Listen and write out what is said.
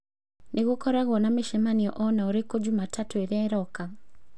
Nĩ gũkoragwo na mĩcemanio o na ũrĩkũ Jumatatu ĩrĩa ĩroka?